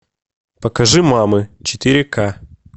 покажи мамы четыре ка